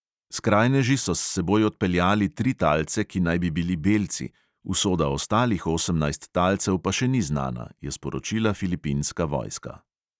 Skrajneži so s seboj odpeljali tri talce, ki naj bi bili belci, usoda ostalih osemnajst talcev pa še ni znana, je sporočila filipinska vojska.